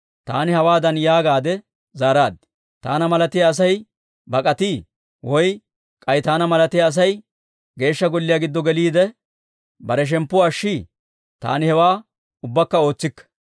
Taani hawaadan yaagaadde zaaraad; «Taana malatiyaa Asay bak'atii? Woy k'ay taana malatiyaa Asay Geeshsha Golliyaa giddo geliide, bare shemppuwaa ashshii? Taani hewaa ubbakka ootsikke».